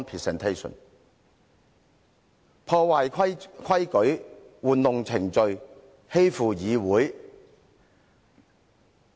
政府破壞規矩，玩弄程序，欺負議會。